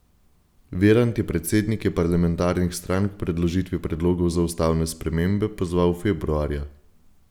Virant je predsednike parlamentarnih strank k predložitvi predlogov za ustavne spremembe pozval februarja.